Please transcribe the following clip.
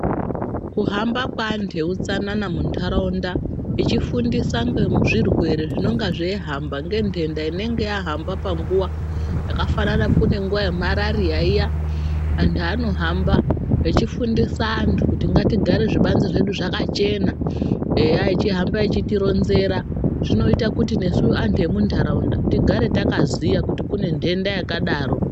Kuhamba kweantu eutsanana muntaraunda echifundisa ngezvirwere zvinonga zveihamba ngendenda inenge yahamaba panguva. Zvakafanana kune nguva yemarariya iya, antu anohamba echifundisa antu kuti ngatigare zvibanze zvedu zvakachena, eya echihamba echitironzera. Zvinoita kuti nesu antu emuntaraunda tigare takaziya kuti kune ndenda yakadaro.